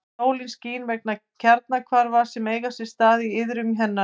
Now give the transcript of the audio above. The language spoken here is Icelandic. Sólin skín vegna kjarnahvarfa sem eiga sér stað í iðrum hennar.